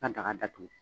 Ka daga datugu